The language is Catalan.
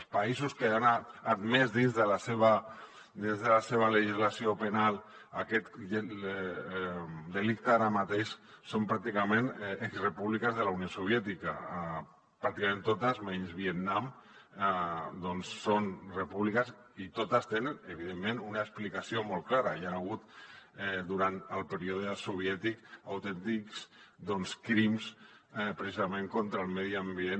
els països que han admès dins de la seva legislació penal aquest delicte ara mateix són pràcticament exrepúbliques de la unió soviètica pràcticament totes menys vietnam doncs són repúbliques i totes tenen evidentment una explicació molt clara hi han hagut durant el període soviètic autèntics crims precisament contra el medi ambient